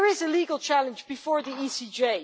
there is a legal challenge before the ECJ.